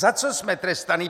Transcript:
Za co jsme trestáni?